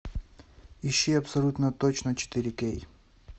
ищи абсолютно точно четыре кей